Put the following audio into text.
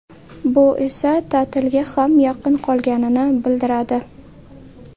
Bu esa ta’tilga ham yaqin qolganini bildiradi.